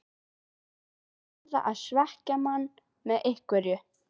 Þeir verða að svekkja mann með einhverju.